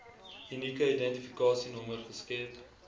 unieke identifikasienommer geskep